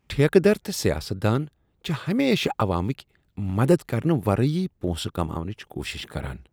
ٹھیکہٕ در تہٕ سیاست دان چھِ ہمیشہٕ عوامٕکۍ مدد کرنہٕ ورٲے پونٛسہٕ كماونٕچ کوشش کران۔